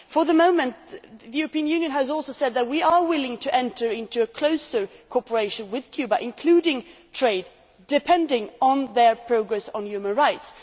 The European Union has also said that we are willing to enter into a closer cooperation with Cuba, including trade, depending on their progress on human rights.